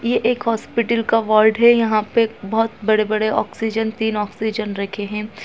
ये एक होस्पिटल का वोर्ड है यहाँ पे बहोत बड़े बड़े ऑक्सीजन तीन ऑक्सीजन रखे हैं।